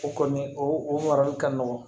O kɔni o marali ka nɔgɔn